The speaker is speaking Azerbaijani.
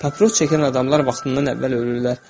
Papiros çəkən adamlar vaxtından əvvəl ölürlər.